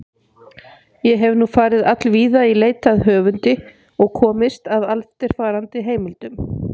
Ég hef nú farið allvíða í leit að höfundi og komist að eftirfarandi heimildum.